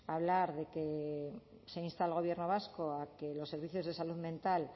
hablar de que se insta al gobierno vasco a que los servicios de salud mental